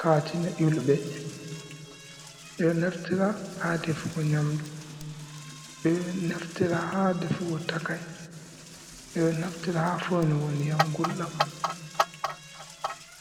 Katine ƴulɓe, ɓeɗo naftira ha defugo nyamdu, ɓeɗo naftira ha defugo takai, ɓeɗo naftira ha foinugo ndiyam gulɗam